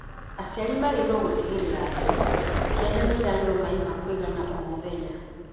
Aciari magĩrĩirũo gũtigĩrĩra atĩ ciana nĩ iranyua maĩ ma kũigana o mũthenya